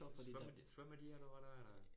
Svømmer de svømmer de eller hvordan?